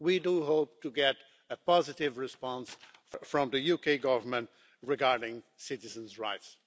We hope to get a positive response from the UK Government regarding citizens' rights.